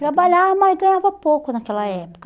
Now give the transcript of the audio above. Trabalhava, mas ganhava pouco naquela época.